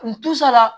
N tusara